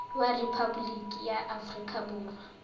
wa rephaboliki ya aforika borwa